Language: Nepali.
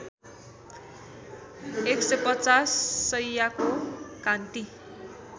१५० शैय्याको कान्ति